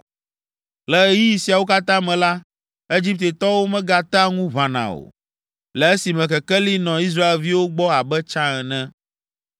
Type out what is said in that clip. Le ɣeyiɣi siawo katã me la, Egiptetɔwo megatea ŋu ʋãna o, le esime kekeli nɔ Israelviwo gbɔ abe tsã ene.